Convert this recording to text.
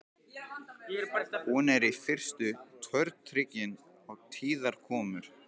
Hún er í fyrstu tortryggin á tíðar komur